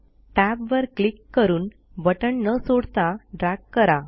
टॅबवर क्लिक करुन बटण न सोडता ड्रॅग करा